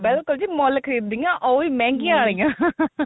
ਬਿਲਕੁਲ ਜੀ ਮੁੱਲ ਖਰੀਦਿਆ ਉਹ ਵੀ ਮਹੰਗੀਆਂ ਵਾਲਿਆ